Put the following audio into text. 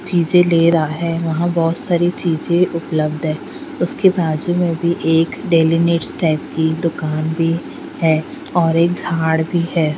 चीजे ले रहा है वह बोहोत सारे चीजे उपलब्ध है उसके बाजुमें भी एक डेली नीड्स टाईप की दुकान भी है और एक झाड़ भी है।